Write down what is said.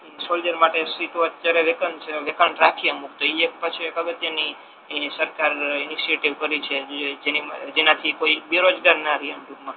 soldier માટે સીધુ અત્યારે તો એ એક પાછુ એક અગત્ય ની એ સરકારે જેનાથી કોઈ બેરોજગાર ના રે એમ ટૂંક મા